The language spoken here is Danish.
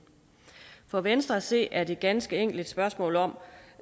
for venstre at se er det ganske enkelt et spørgsmål om